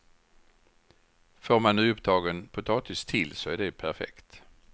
Får man nyupptagen potatis till så är det perfekt.